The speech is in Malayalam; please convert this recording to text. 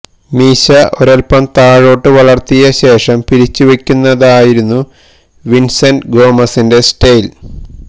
മീശ ഒരല്പം താഴോട്ട് വളര്ത്തിയ ശേഷം പിരിച്ചുവയ്ക്കുന്നതായിരുന്നു വിന്സെന്റ് ഗോമസിന്റെ സ്റ്റൈല്